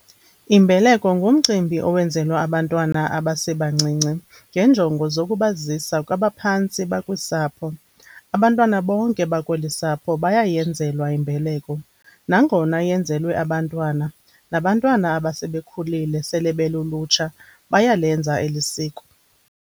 Imbeleko ngumcimbi owenzelwa abantwana abasebancinci ngenjongo zokubazisa kwabaphantsi bakwisapho.abantwana bonke bakweli sapho bayayenzelwa imbeleko. Nangona yenzelwe abantwana, nabantwana abasebekhulile sele belulutsha bayalenza elisiko.